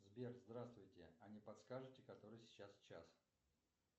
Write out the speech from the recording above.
сбер здравствуйте а не подскажите который сейчас час